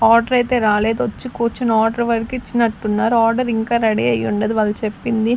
Order ఐతే రాలేదు వచ్చి కూర్చుని ఆర్డర్ వరకి ఇచ్చినట్టున్నారు ఆర్డర్ ఇంకా రెడీ అయ్యుండదు వాళ్ళు చెప్పింది.